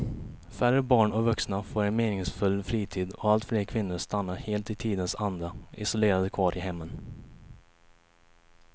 Färre barn och vuxna får en meningsfull fritid och allt fler kvinnor stannar helt i tidens anda isolerade kvar i hemmen.